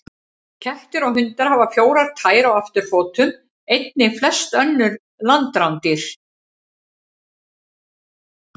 Kettir og hundar hafa fjórar tær á afturfótum, einnig flest önnur landrándýr.